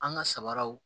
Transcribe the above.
An ka sabaraw